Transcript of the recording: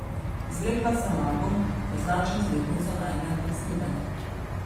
Izvlekla sem album, označen z letnico najinega snidenja.